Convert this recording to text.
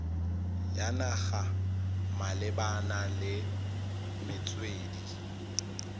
ya naga malebana le metswedi